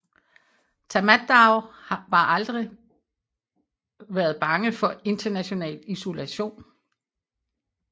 Tatmadaw var aldrig været bange for international isolation